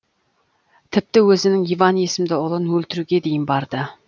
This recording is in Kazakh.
тіпті өзінің иван есімді ұлын өлтіруге дейін барды